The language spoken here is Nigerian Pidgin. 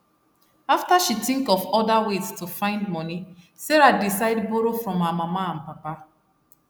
after she think of other ways to find money sarah decide borrow from her mama and papa